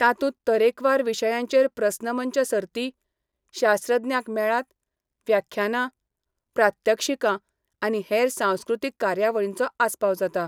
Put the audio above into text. तातूंत तरेकवार विशयांचेर प्रस्न मंच सर्ती, शास्त्रज्ञांक मेळात, व्याख्यानां, प्रात्यक्षिकां आनी हेर सांस्कृतीक कार्यावळींचो आसपाव जाता.